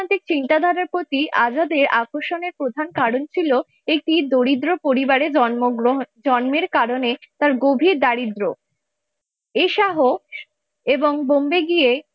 চিন্তাধারার প্রতি আজাদে আকর্ষণের প্রধান কারণ ছিল একটি দরিদ্র পরিবারে জন্মগ্রহণ জন্মের কারণে তার গভীর দারিদ্র্য এই সহ এবং বোম্বে গিয়ে।